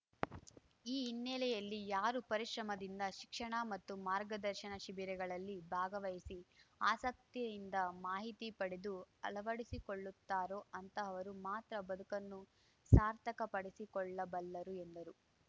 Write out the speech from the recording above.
ಈ ಹಿನ್ನೆಲೆಯಲ್ಲಿ ಯಾರು ಪರಿಶ್ರಮದಿಂದ ಶಿಕ್ಷಣ ಮತ್ತು ಮಾರ್ಗದರ್ಶನ ಶಿಬಿರಗಳಲ್ಲಿ ಭಾಗವಹಿಸಿ ಆಸಕ್ತಿಯಿಂದ ಮಾಹಿತಿ ಪಡೆದು ಅಳವಡಿಸಿಕೊಳ್ಳುತ್ತಾರೋ ಅಂತಹವರು ಮಾತ್ರ ಬದುಕನ್ನು ಸಾರ್ಥಕಪಡಿಸಿಕೊಳ್ಳಬಲ್ಲರು ಎಂದರು